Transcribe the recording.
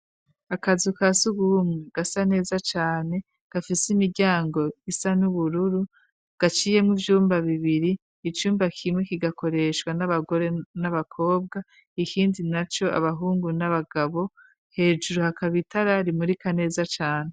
Akazu ka s'urwumwe gasa neza cane, gafise imiryango isa n'ubururu, gaciyemwo ivyumba bibiri, icumba kimwe kigakoreshwa n'abagore n'abakobwa, ikindi na co abahungu n'abagabo, hejuru hakaba itara, rimurika neza cane.